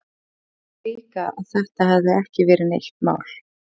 Þess vegna hélt ég líka að þetta hefði ekki verið neitt mál.